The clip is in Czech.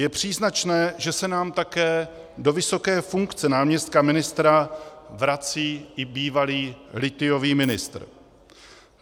Je příznačné, že se nám také do vysoké funkce náměstka ministra vrací i bývalý lithiový ministr.